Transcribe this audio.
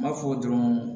N b'a fɔ dɔrɔn